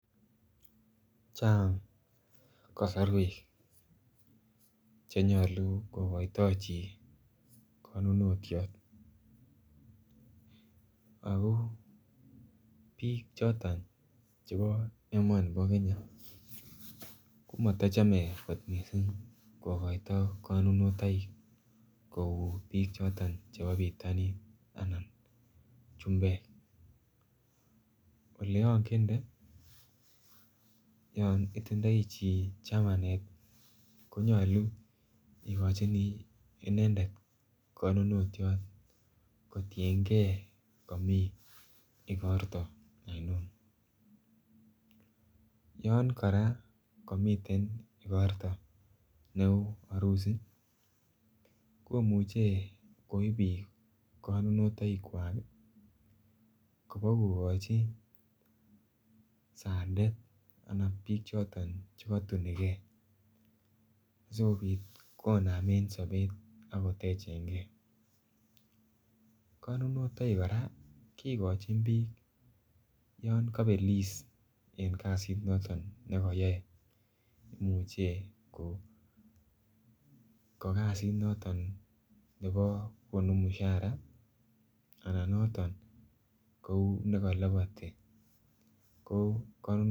Chang kosorwek Che nyolu kogoito chi konunotyot ago bik choton chebo emoni bo Kenya komatochome kot mising kogoito konunotoikik kou bik chebo bitonin chumbek Ole angende yon itindoi chi chamanet ko nyolu igochini inendet konunotyot kotienge komi igorto ainon yon kora komiten igorto neu arusi ko muche koib konunotoikik kwak kobokogochi sandet anan bichoto Che kaituni ge asikobit kotoret kobakonamen sobet konunotoikik kora kigochin bik yon koibelis en kasit noton ne kayae imuche ko kasit noton ne konu mushara anan kou noton nekolopoti kigochin konunotoikik